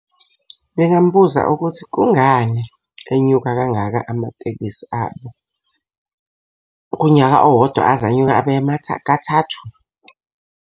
Ngingambuza ukuthi kungani enyuka kangaka amatekisi abo kunyaka owodwa aze anyuka kathathu.